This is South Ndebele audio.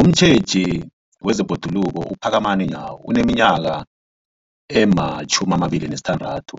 Umtjheji wezeBhoduluko uPhakamani Nyawo oneminyaka ema-26,